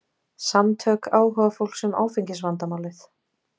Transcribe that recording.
Samtök áhugafólks um áfengisvandamálið